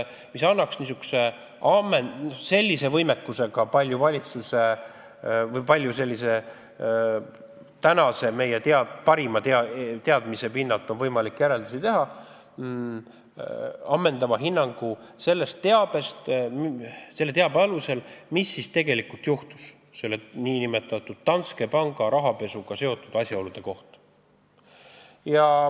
See annaks võimaluse meie praeguse parima teadmise pinnalt teha järeldusi Danske panga rahapesuga seotud asjaolude kohta ja anda ammendava hinnangu, mis siis tegelikult juhtus.